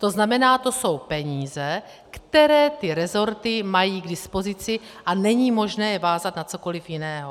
To znamená, to jsou peníze, které ty resorty mají k dispozici, a není možné je vázat na cokoli jiného.